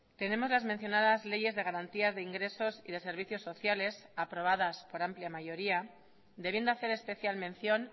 tenemos las mencionadas leyes de garantías de ingresos y de servicios sociales aprobadas por amplia mayoría debiendo hacer especial mención